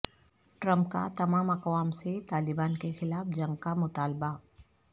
Trump کا تمام اقوام سے طالبان کے خلاف جنگ کا مطالبہ